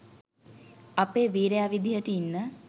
අපේ වීරයා විදිහට ඉන්න